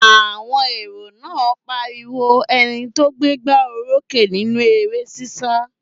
Àwọn èrò náà pariwo ẹni tó gbégbá orókè nínú eré ṣíṣá